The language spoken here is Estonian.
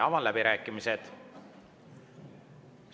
Avan läbirääkimised.